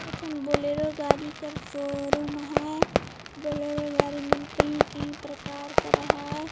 एक ठन बोलेरे गाड़ी का शोरूम हैं बोलरो गाड़ी में कई कई प्रकार कर रहा हैं।